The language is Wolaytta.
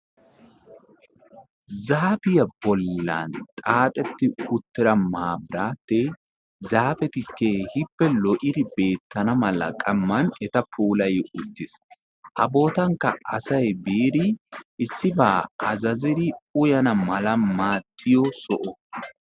zaafiyaa bollan xaaxxeti uttida maatati zaafeti keehippe lo''idi beettana mala qamman eta puulay uttis. ha bootankka asay issiba azazzidi uyyana mala maaddiyo soho.